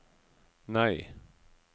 nei